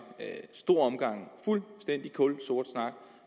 stor omgang fuldstændig kulsort snak